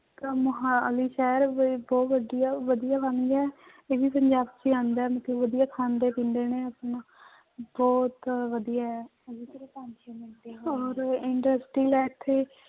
ਤਾਂ ਮੁਹਾਲੀ ਸ਼ਹਿਰ ਵੀ ਬਹੁਤ ਵਧੀਆ ਵਧੀਆ ਬਣ ਗਿਆ ਹੈ ਇਹ ਵੀ ਪੰਜਾਬ ਚ ਹੀ ਆਉਂਦਾ ਹੈ ਮਤਲਬ ਵਧੀਆ ਖਾਂਦੇ ਪੀਂਦੇ ਨੇ ਆਪਣਾ ਬਹੁਤ ਵਧੀਆ ਹੈ ਔਰ industrial ਹੈ ਇੱਥੇ